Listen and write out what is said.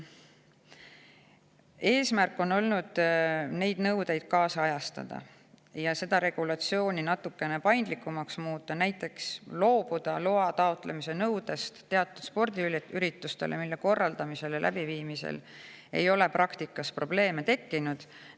Eesmärk on olnud neid nõudeid kaasajastada ja seda regulatsiooni natukene paindlikumaks muuta, näiteks loobuda loa taotlemise nõudest teatud spordiürituste puhul, mille korraldamisel ja läbiviimisel ei ole praktikas probleeme tekkinud.